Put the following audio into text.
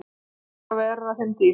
Það skal verða þeim dýrt!